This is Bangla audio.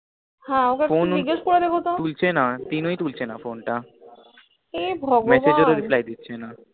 হ্য়াঁ ওকে একটু জিগিসা করে দেখ তো ফোন তুলছে না phone তুলছে না তিন ওই তুলছে না phone টা হে ভগবান message এর ও reply দিছে না